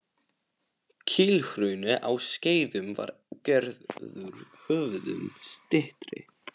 Kílhrauni á Skeiðum var gerður höfðinu styttri.